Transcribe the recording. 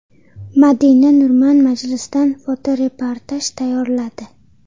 Madina Nurman majlisdan fotoreportaj tayyorladi.